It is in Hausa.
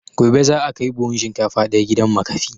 Gobe za a kai buhun shinkafa ɗaya gidan makafi